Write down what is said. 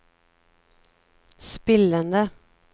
spillende